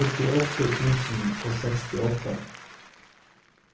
førtiåtte tusen og sekstiåtte